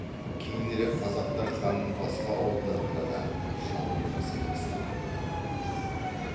кейінірек қазақтар ханның басқа ауылдарына да шабуыл жасай бастады